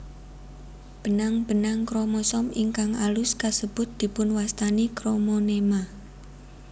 Benang benang kromosom ingkang alus kasebut dipunwastani kromonema